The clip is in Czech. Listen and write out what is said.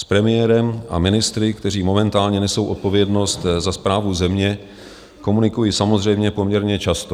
S premiérem a ministry, kteří momentálně nesou odpovědnost za správu země, komunikuji samozřejmě poměrně často.